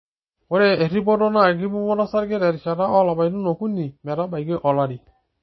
Ore erripoto naa enkipimoto osarge terishata oolapaitin okuni metabaiki olari.